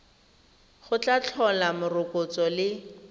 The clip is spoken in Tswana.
go tla tlhola morokotso le